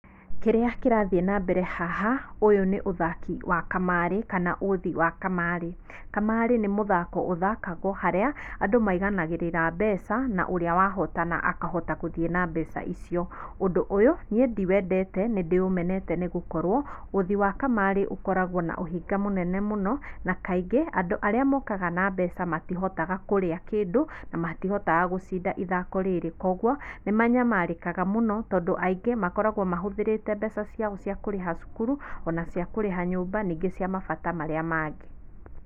kĩrĩa kĩrathiĩ na mbere haha, ũyũ nĩ ũthaki wa kamarĩ kana ũthi wa kamarĩ. Kamarĩ nĩ mũthako ũthakagwo harĩa, andũ maiganagĩrĩra mbeca, na ũrĩa wahotana akahota gũthiĩ na mbeca icio. Ũndu ũyũ niĩ ndi wendete nĩ ndĩũmenete nĩgũkorwo, ũthi wa kamarĩ ũkoragwo na ũhinga mũnene mũno, na kaingĩ andũ arĩa mokaga na mbeca matihotaga kũrĩa kĩndũ na matihotaga gũcinda ithako rĩrĩ koguo, nĩmanyamarĩkaga mũno tondũ aingĩ makoragwo mahũthĩrĩte mbeca ciao cia kũrĩha cukuru, ona cia kũrĩha nyũmba, ningĩ cia mabata marĩa mangĩ.